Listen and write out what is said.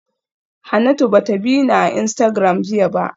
Hanatu ba ta bi ni a Instagram jiya ba